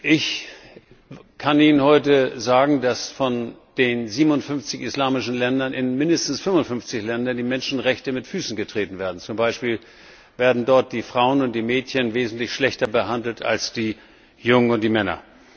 Ich kann Ihnen heute sagen, dass von den 57 islamischen Ländern in mindestens 55 Ländern die Menschenrechte mit Füßen getreten werden zum Beispiel werden dort die Frauen und die Mädchen wesentlich schlechter behandelt als die Jungen und die Männer.